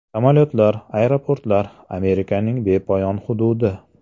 Samolyotlar, aeroportlar, Amerikaning bepoyon hududi.